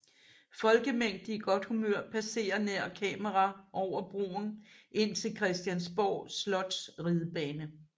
Folkemængde i godt humør passerer nær kamera over broen ind til Christiansborg Slots ridebane